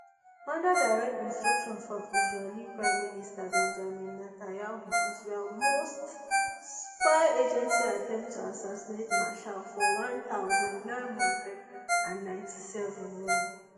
under direct instruction from israeli prime minister benjamin natayahu israel most spy agency attempt to assassinate meshaal for one thousand, nine hundred and ninety-seven wen